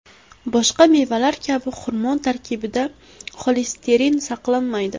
Boshqa mevalar kabi xurmo tarkibida xolesterin saqlanmaydi.